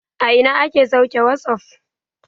A ina ake sauke wasup?